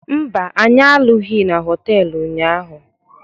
Mba, anyị alụghị na họtelụ ụnyaahụ